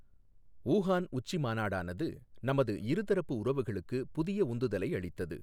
Wuhan உச்சிமாநாடானது, நமது இருதரப்பு உறவுகளுக்கு புதிய உந்துதலை அளித்தது.